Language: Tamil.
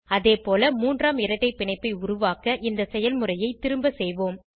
அதேபோல மூன்றாம் இரட்டை பிணைப்பை உருவாக்க இந்த செயல்முறையை திரும்ப செய்வோம்